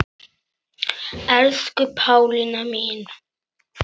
Elsku Pálína mín.